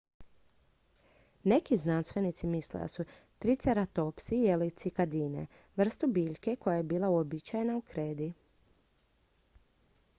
neki znanstvenici misle da su triceratopsi jeli cikadine vrstu biljke koja je bila uobičajena u kredi